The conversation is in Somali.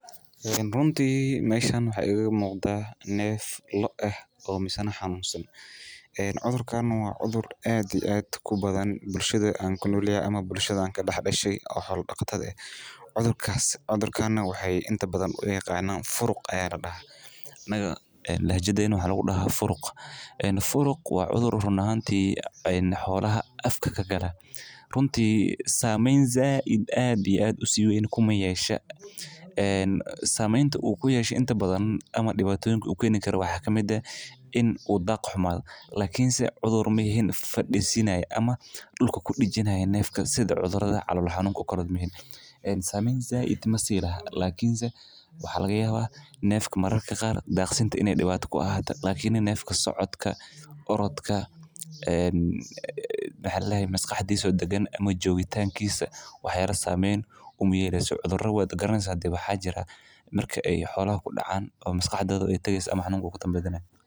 Runtii meeshan waxaa iiga muuqda neef loo ah oo xanuunsan waa cudur ku badan bulshada dexdeeda cudurkan waxaa ladahaa furuq waa cudur xoolaha afka kagala in la helo waqti lagu nasto marka hore waxaan usharxi orodka maskaxdiisa oo dagan cudura waxaa jiraan marki aay xolaha ku dacaan.